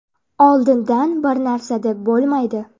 Oldindan bir narsa deb bo‘lmaydi.